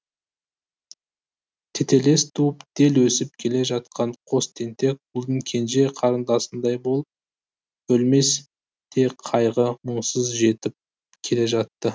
тетелес туып тел өсіп келе жатқан қос тентек ұлдың кенже қарындасындай болып өлмес те қайғы мұңсыз жетіп келе жатты